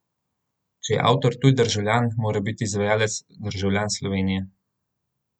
Če je avtor tuj državljan, mora biti izvajalec državljan Slovenije.